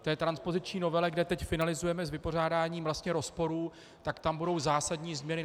K té transpoziční novele, kde teď finalizujeme s vypořádáním vlastně rozporů, tak tam budou zásadní změny.